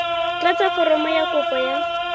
tlatsa foromo ya kopo ya